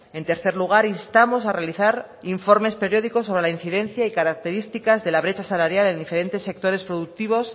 en tercer lugar instamos a realizar informes periódicos sobre la incidencia y características de la brecha salarial en diferentes sectores productivos